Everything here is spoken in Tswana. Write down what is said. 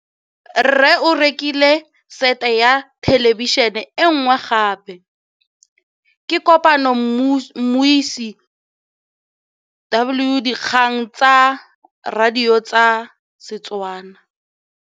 Rre o rekile sete ya thêlêbišênê e nngwe gape. Ke kopane mmuisi w dikgang tsa radio tsa Setswana.